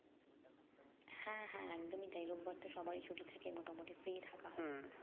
হ্যাঁ হ্যাঁ একদমই তাই রোববার টা সবার ছুটি থাকে মোটামুটি free থাকা হয়